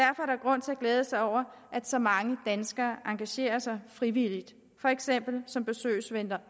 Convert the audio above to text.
glæde sig over at så mange danskere engagerer sig frivilligt for eksempel som besøgsvenner